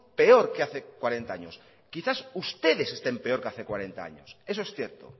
peor que hace cuarenta años quizás ustedes estén peor que hace cuarenta años eso es cierto